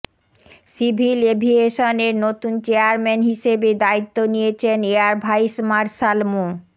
civil এভিয়েশনের নতুন chairman হিসেবে দায়িত্ব নিয়েছেন এয়ার ভাইস মার্শাল মো